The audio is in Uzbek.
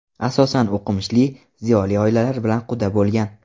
Asosan o‘qimishli, ziyoli oilalar bilan quda bo‘lgan.